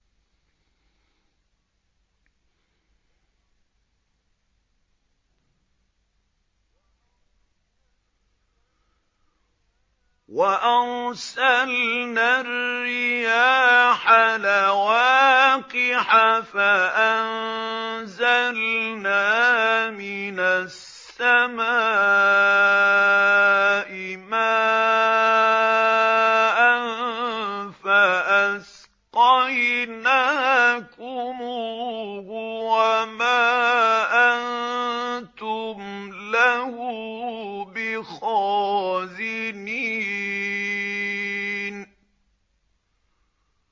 وَأَرْسَلْنَا الرِّيَاحَ لَوَاقِحَ فَأَنزَلْنَا مِنَ السَّمَاءِ مَاءً فَأَسْقَيْنَاكُمُوهُ وَمَا أَنتُمْ لَهُ بِخَازِنِينَ